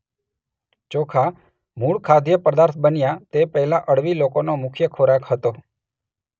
ચોખા મૂળ ખાદ્ય પદાર્થ બન્યા તે પહેલા અળવી લોકોનો મુખ્ય ખોરાક હતો.